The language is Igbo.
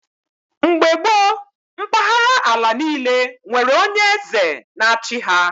Mgbe gboo mpahara ala niile were onye eze na-achi ha